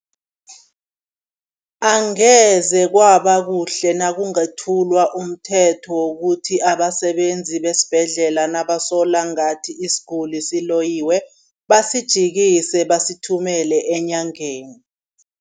Angeze kwaba kuhle nakungathulwa umthetho wokuthi abasebenzi besibhedlela nabasola ngathi isiguli siloyiwe, basijikise, basithumele enyangeni.